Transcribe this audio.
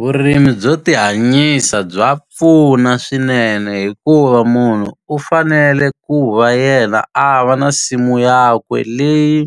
Vurimi byo tihanyisa bya pfuna swinene hikuva munhu u fanele ku va yena a va na nsimu yakwe leyi